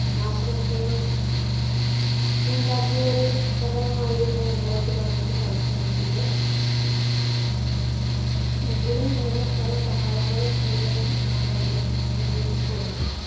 നാശനഷ്ടങ്ങൾ ഉണ്ടാക്കിയ ഒരു പ്രളയം ആയിരുന്നു രണ്ടായിരത്തിപതിനെട്ട് സാക്ഷ്യം വഹിച്ചത്. എങ്കിലും ഇങ്ങനെ പല സഹായങ്ങളും ചെയ്ത് നാം അതിനെ അതിജീവിച്ച് പോന്നു.